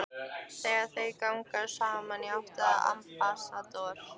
Þegar þau ganga svo saman í áttina að Ambassador